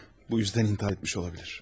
Bu üzdən intihar etmiş ola bilər.